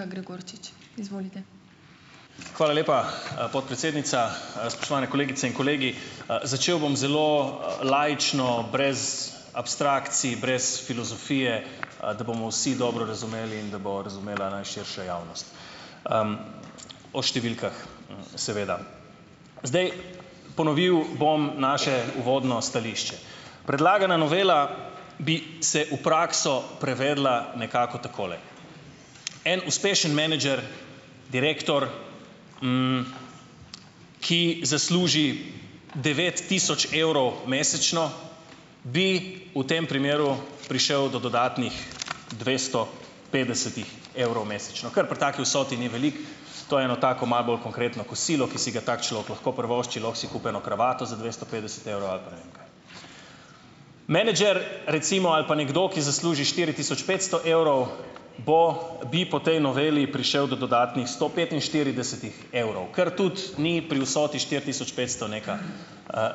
A Gregorčič, izvolite. Hvala lepa, podpredsednica. Spoštovane kolegice in kolegi. Začel bom zelo, laično, brez abstrakcij, brez filozofije, da bomo vsi dobro razumeli in da bo razumela najširša javnost. O številkah, seveda. Zdaj, ponovil bom naše uvodno stališče. Predlagana novela bi se v prakso prevedla nekako takole. En uspešen menedžer, direktor, ki zasluži devet tisoč evrov mesečno, bi v tem primeru prišel do dodatnih dvesto petdesetih evrov mesečno. Kar pri taki vsoti ni veliko, to je eno tako malo bolj konkretno kosilo, ki si ga tak človek lahko privošči, lahko si kupi eno kravato za dvesto petdeset evrov ali pa ne vem kaj. Menedžer, recimo, ali pa nekdo, ki zasluži štiri tisoč petsto evrov, bo bi po tej noveli prišel do dodatnih sto petinštiridesetih evrov, kar tudi ni pri vsoti štiri tisoč petsto, neka,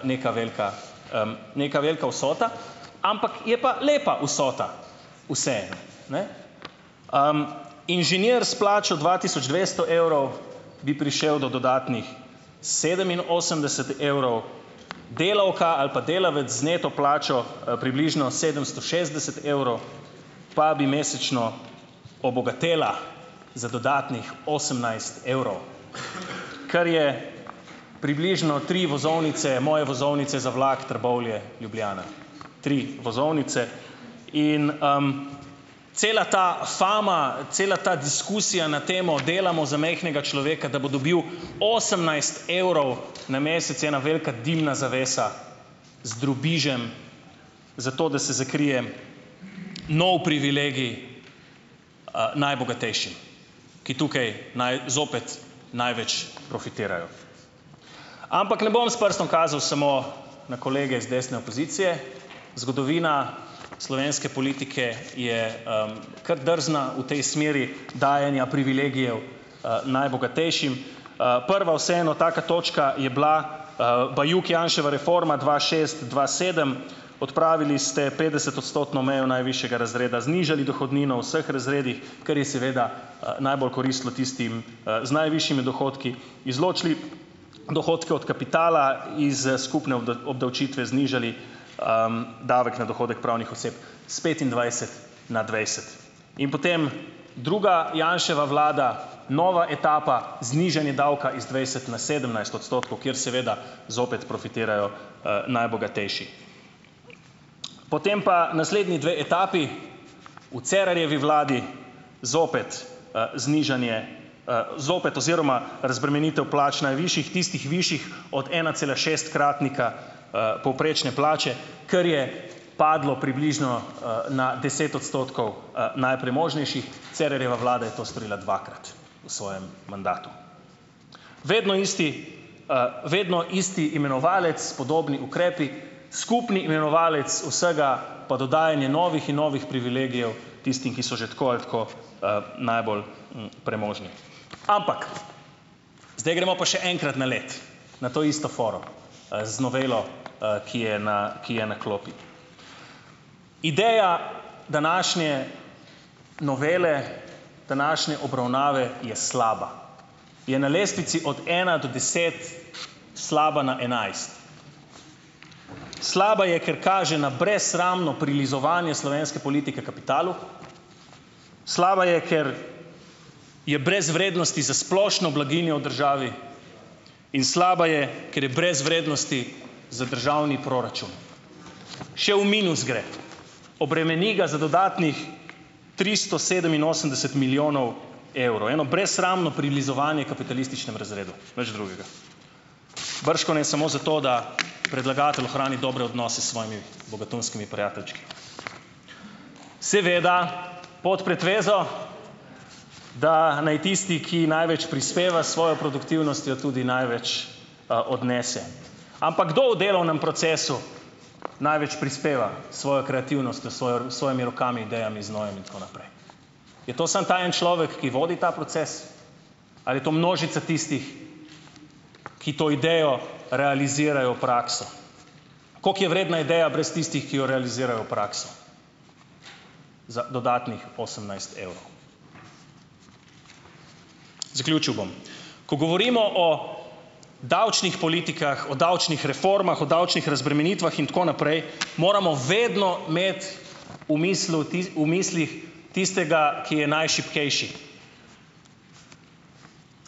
neka velika, neka velika vsota, ampak, je pa lepa vsota, vseeno, ne? Inženir s plačo dva tisoč dvesto evrov, bi prišel do dodatnih sedeminosemdeset evrov, delavka ali pa delavec z neto plačo, približno sedemsto šestdeset evrov, pa bi mesečno obogatela za dodatnih osemnajst evrov, kar je približno tri vozovnice, moje vozovnice za vlak Trbovlje-Ljubljana, tri vozovnice. In, cela ta fama, cela ta diskusija na temo delamo za majhnega človeka, da bo dobil osemnajst evrov na mesec, je ena velika dimna zavesa, z drobižem, zato da se zakrije nov privilegij, najbogatejšim, ki tukaj zopet največ profitirajo. Ampak ne bom s prstom kazalo samo na kolege z desne opozicije. Zgodovina slovenske politike je, kar drzna v tej smeri dajanja privilegijev, najbogatejšim. Prva vseeno, taka točka, je bila, Bajuk-Janševa reforma dva šest-dva sedem. Odpravili ste petdesetodstotno mejo najvišjega razreda, znižali dohodnino v vseh razredih, kar je seveda, najbolj koristilo tistim, z najvišjimi dohodki, izločili dohodke od kapitala, iz skupne obdavčitve znižali, davek na dohodek pravnih oseb s petindvajset na dvajset. In potem druga Janševa vlada, nova etapa, znižanje davka iz dvajset na sedemnajst odstotkov, kjer seveda zopet profitirajo, najbogatejši. Potem pa naslednji dve etapi. V Cerarjevi vladi zopet, znižanje, zopet oziroma razbremenitev plač najvišjih, tistih višjih od enacelašestkratnika, povprečne plače, kar je padlo, približno, na deset odstotkov, najpremožnejših - Cerarjeva vlada je to storila dvakrat v svojem mandatu. Vedno isti, vedno isti imenovalec, podobni ukrepi, skupni imenovalec vsega pa dodajanje novih in novih privilegijev tistim, ki so že tako ali tako, najbolj, premožni. Ampak, zdaj gremo pa še enkrat na leto, na to isto foro, z novelo, ki je na, ki je na klopi. Ideja današnje novele, današnje obravnave, je slaba. Je na lestvici od ena do deset, slaba na enajst. Slaba je, ker kaže na brezsramno prilizovanje slovenske politike kapitalu, slaba je, ker je brez vrednosti za splošno blaginjo v državi, in slaba je, ker je brez vrednosti za državni proračun. Še v minus gre. Obremeni ga za dodatnih tristo sedeminosemdeset milijonov evrov. Eno brezsramno prilizovanje kapitalističnemu razredu, nič drugega. Bržkone samo zato, da predlagatelj ohrani dobre odnose s svojimi bogatunskimi prijateljčki. Seveda, pod pretvezo, da naj tisti, ki največ prispeva s svojo produktivnostjo, tudi največ, odnese. Ampak, kdo v delovnem procesu največ prispeva s svojo kreativnostjo? Svojo, svojimi rokami, idejami, znojem in tako naprej? Je to samo ta en človek, ki vodi ta proces? Ali je to množica tistih, ki to idejo realizirajo v prakso? Koliko je vredna ideja brez tistih, ki jo realizirajo v prakso? Za dodatnih osemnajst evrov. Zaključil bom - ko govorimo o davčnih politikah, o davčnih reformah, o davčnih razbremenitvah in tako naprej, moramo vedno imeti v mislil v mislih tistega, ki je najšibkejši.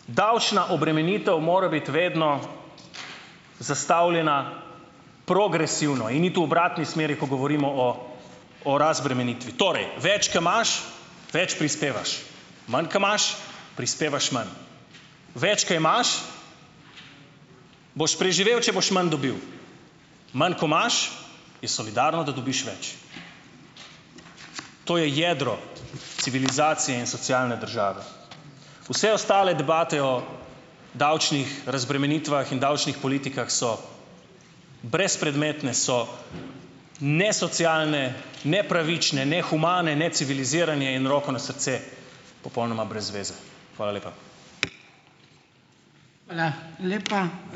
Davčna obremenitev mora biti vedno zastavljena progresivno in iti v obratni smeri, ko govorimo o o razbremenitvi. Torej, več ko imaš, več prispevaš. Manj ko imaš, prispevaš manj. Več ko imaš, boš preživel, če boš manj dobil. Manj ko imaš, je solidarno, da dobiš več. To je jedro civilizacije in socialne države. Vse ostale debate o davčnih razbremenitvah in davčnih politikah so brezpredmetne, so nesocialne, nepravične, nehumane, necivilizirane in, roko na srce, popolnoma brez zveze. Hvala lepa. Hvala lepa.